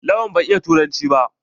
Lawan bai iya yarbanci ba.